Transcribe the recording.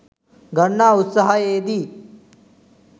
ගන්නා උත්සාහයේ දී